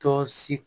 Tɔ si